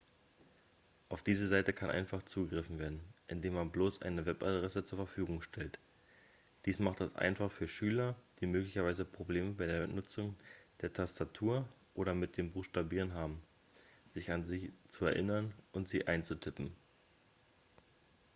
auf diese seite kann einfach zugegriffen werden indem man bloß eine webadresse zur verfügung stellt dies macht es einfach für schüler die möglicherweise probleme bei der benutzung der tastatur oder mit dem buchstabieren haben sich an sie zu erinnern und sie einzutippen